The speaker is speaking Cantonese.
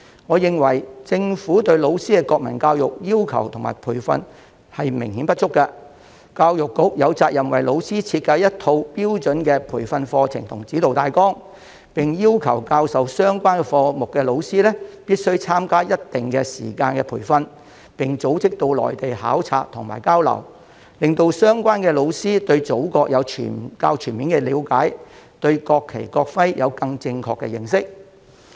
我認為政府對老師的國民教育要求和培訓明顯不足，教育局有責任為老師設計一套標準的培訓課程及指導大綱，並要求教授相關科目的老師必須參加一定時間的培訓，並組織到內地考察和交流，令相關老師對祖國有較全面的了解，對國旗、國徽有更正確的認識。